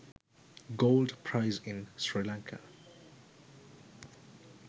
gold price in sri lanka